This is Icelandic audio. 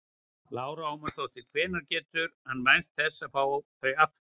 Lára Ómarsdóttir: Hvenær getur hann vænst þess að fá þau aftur?